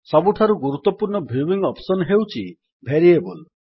ସବୁଠାରୁ ଗୁରୁତ୍ୱପୂର୍ଣ୍ଣ viewing option ହେଉଛି ଭେରିଏବଲ୍